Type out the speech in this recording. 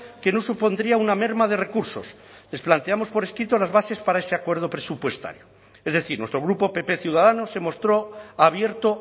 que no supondría una merma de recursos les planteamos por escrito las bases para ese acuerdo presupuestario es decir nuestro grupo pp ciudadanos se mostró abierto